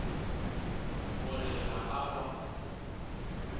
go re ga a ba